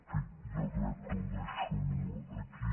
en fi jo crec que ho deixo aquí